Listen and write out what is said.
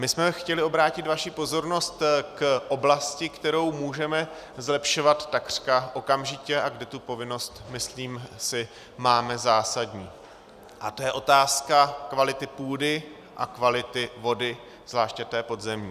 My jsme chtěli obrátit vaši pozornost k oblasti, kterou můžeme zlepšovat takřka okamžitě a kde tu povinnost, myslím si, máme zásadní, a to je otázka kvality půdy a kvality vody, zvláště té podzemní.